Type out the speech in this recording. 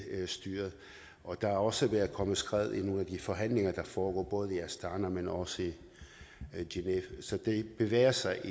styret og der er også kommet skred i nogle af de forhandlinger der foregår både i astana men også i genève så det bevæger sig